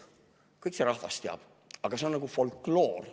Kõik see rahvas teab, aga see on nagu folkloor.